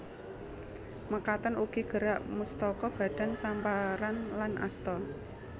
Mekaten ugi gerak mustaka badan samparan lan asta